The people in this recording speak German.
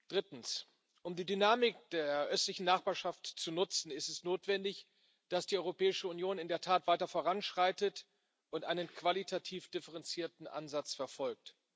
Drittens Um die Dynamik der Östlichen Nachbarschaft zu nutzen, ist es notwendig, dass die Europäische Union in der Tat weiter voranschreitet und einen qualitativ differenzierten Ansatz verfolgt.